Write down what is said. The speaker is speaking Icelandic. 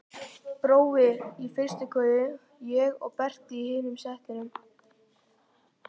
Brói í fyrstu koju, ég og Berti í hinu settinu.